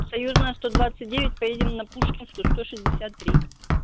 союзная сто двадцать девять поедем на пушкинскую сто шестьдесят три